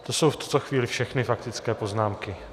To jsou v tuto chvíli všechny faktické poznámky.